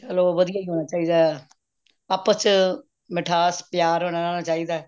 ਚਲੋ ਵਧੀਆ ਹੀ ਹੋਣਾ ਚਾਹੀਦਾ ਆਪਸ ਚ ਮਿਠਾਸ ਪਿਆਰ ਹੋਣਾ ਚਾਹੀਦਾ